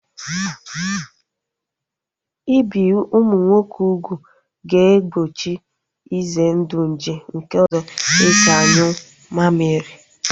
Ibi ụmụ nwoke ugwu ga-egbochi ize ndụ nje nke ụzọ esi anyụ mammiri